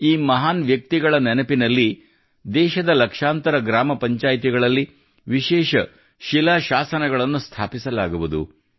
ಈ ಮಹಾನ್ ವ್ಯಕ್ತಿಗಳ ನೆನಪಿನಲ್ಲಿ ದೇಶದ ಲಕ್ಷಾಂತರ ಗ್ರಾಮ ಪಂಚಾಯಿತಿಗಳಲ್ಲಿ ವಿಶೇಷ ಶಿಲಾ ಶಾಸನಗಳನ್ನು ಸ್ಥಾಪಿಸಲಾಗುವುದು